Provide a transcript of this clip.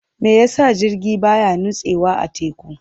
Me yasa jirgi baya nutsewa a teku?